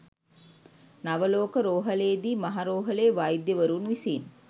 නවලෝක රෝහලේදී මහ රෝහලේ වෛද්‍යවරුන් විසින්.